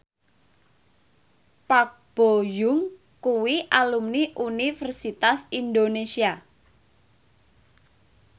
Park Bo Yung kuwi alumni Universitas Indonesia